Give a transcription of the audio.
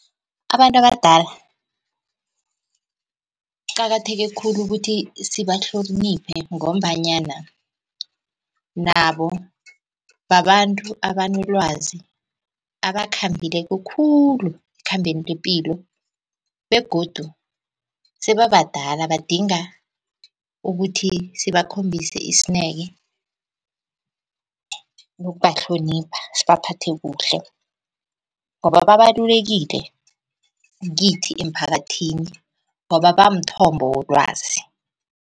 Abantu abadala kuqakatheke khulu ukuthi sibahloniphe, ngombanyana nabo babantu abanolwazi abakhambileko khulu ekhambeni lepilo. Begodu sebabadala badinga ukuthi sibakhombise isineke nokubahlonipha, sibaphathe kuhle ngoba babalulekile kithi emphakathini ngoba bamthombo wolwazi.